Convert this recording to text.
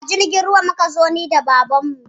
A jirgin ruwa muka zo, ni da babanmu